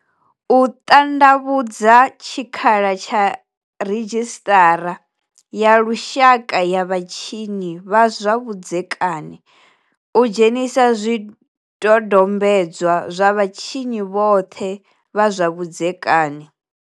U ṱanḓavhudza tshikhala tsha Ridzhisiṱara ya Lushaka ya vhatshinyi vha zwa Vhudzekani u dzhenisa zwidodombedzwa zwa vhatshinyi vhoṱhe vha zwa vhudzekani.